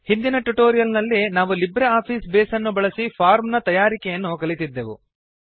ಹಿಂದಿನ ಟ್ಯುಟೋರಿಯಲ್ ನಲ್ಲಿ ನಾವು ಲಿಬ್ರೆ ಆಫೀಸ್ ಬೇಸ್ ಅನ್ನು ಬಳಸಿ ಫಾರ್ಮ್ ನ ತಯಾರಿಕೆಯನ್ನು ಕಲಿತಿದ್ದೆವು